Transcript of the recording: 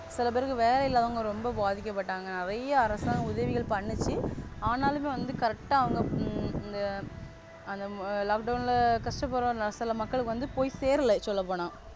சிலபேருக்கு வேல இல்லாம அவங்க ரொம்ப பாதிக்கப்பட்டாங்க. நெறைய அரசாங்க உதவிகள் பண்ணுச்சு ஆனாலுமே வந்து Correct அவுங்க அந்த Lockdown கஷ்டப்படும் நடுத்தர மக்களுக்கு போய் சேரலை சொல்லப்போனா.